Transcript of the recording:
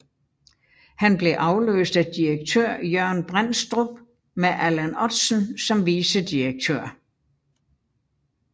Han blev afløst af direktør Jørgen Brændstrup med Allan Ottsen som vicedirektør